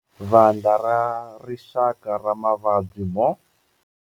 Vandla ra Rixaka ra Mavabyi mo.